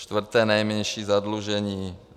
Čtvrté nejmenší zadlužení.